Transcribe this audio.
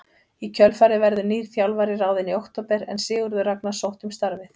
Í kjölfarið verður nýr þjálfari ráðinn í október en Sigurður Ragnar sótti um starfið.